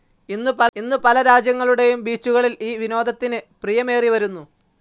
ഇന്നു പല രാജ്യങ്ങളുടെയും ബീച്ചുകളിൽ ഈ വിനോദത്തിന് പ്രിയമേറിവരുന്നു.